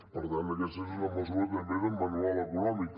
per tant aquesta és una mesura també de manual econòmic